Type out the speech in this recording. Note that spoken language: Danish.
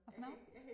Hvad for noget?